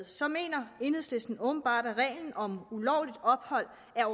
så mener enhedslisten åbenbart at reglen om ulovligt ophold er